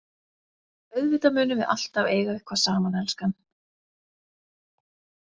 Auðvitað munum við alltaf eiga eitthvað saman, elskan.